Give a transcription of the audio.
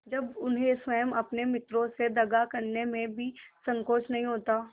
जब उन्हें स्वयं अपने मित्रों से दगा करने में भी संकोच नहीं होता